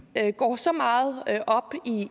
går så meget op